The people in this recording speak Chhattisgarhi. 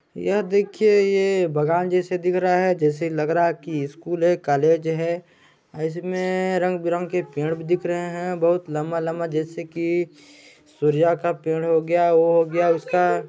ये देखिए ये बागान जैसा दिख रहा है जैसे लग रहा है कि स्कूल है कॉलेज है और इसमें रंग-बिरंग के पेड़ भी दिख रहे हैं बहुत लंबा-लंबा जैसे की सूर्या का पेड़ हो गया वो हो गया उसका--